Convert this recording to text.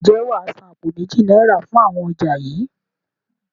Ǹjẹ́ wàá san àpò méjì náírà fún àwọn ọjà yii?